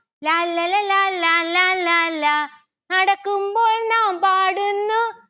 ലാല്ലല ലാലാ ലാലാ ലാ നടക്കുമ്പോൾ നാം പാടുന്നു